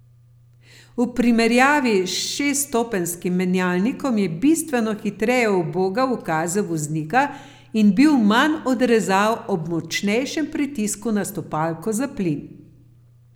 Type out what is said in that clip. V primerjavi s šeststopenjskim menjalnikom je bistveno hitreje ubogal ukaze voznika in bil manj odrezav ob močnejšem pritisku na stopalko za plin.